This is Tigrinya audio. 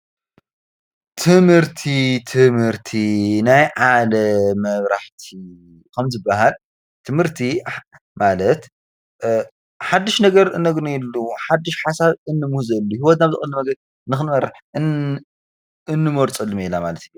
ትምህርቲ ትምህርቲ ናይ ሓደ መብራህቲ ከምዝበሃል ትምህርቲ ማለት ሓድሽ ነገር እነግኔሉ ሓድሽ ሓሳብ እንሞህዘሎ ንኽንበር ሂወትና ብቀሊል ነገር እንሞርፀሉ ሜላ ማለት እዩ።